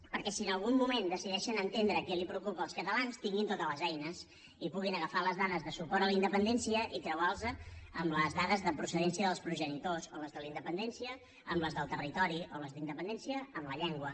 perquè si en algun moment decideixen entendre què els preocupa als catalans hi tinguin totes les eines i puguin agafar les dades de suport a la independència i creuar les amb les dades de procedència dels progenitors o les de la independència amb les del territori o les de la independència amb la llengua